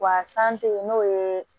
Wa san te yen n'o ye